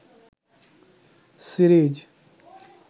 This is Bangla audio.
সিরিজ